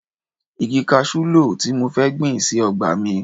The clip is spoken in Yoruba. Igi kaṣú ló tí mo fẹ́ gbìn sí ọgbà mi